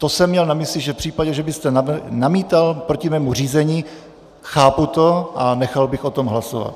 To jsem měl na mysli, že v případě, že byste namítal proti mému řízení, chápu to a nechal bych o tom hlasovat.